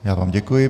Já vám děkuji.